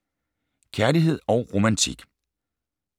Kærlighed & romantik